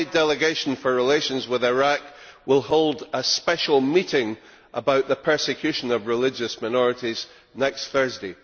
My Delegation for Relations with Iraq will hold a special meeting about the persecution of religious minorities next Thursday.